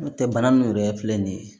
N'o tɛ bana min yɛrɛ filɛ nin ye